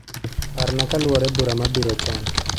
Parna kaluwore bura mabiro chon